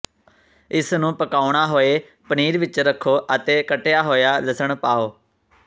ਇਸ ਨੂੰ ਪਕਾਉਣਾ ਹੋਏ ਪਨੀਰ ਵਿੱਚ ਰੱਖੋ ਅਤੇ ਕੱਟਿਆ ਹੋਇਆ ਲਸਣ ਪਾਓ